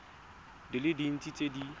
di le dintsi tse di